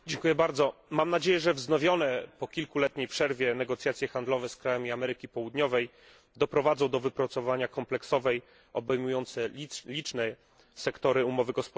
Mam nadzieję, że wznowione po kilkuletniej przerwie negocjacje handlowe z krajami Ameryki Południowej doprowadzą do wypracowania kompleksowej, obejmującej liczne sektory umowy gospodarczej.